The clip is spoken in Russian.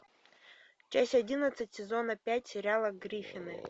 часть одиннадцать сезона пять сериала гриффины